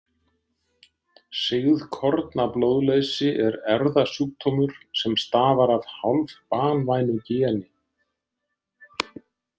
Sigðkornablóðleysi er erfðasjúkdómur sem stafar af hálfbanvænu geni.